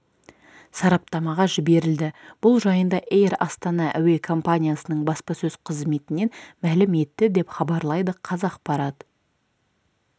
сараптамаға жіберілді бұл жайында эйр астана әуе компаниясының баспасөз қызметінен мәлім етті деп хабарлайды қазақпарат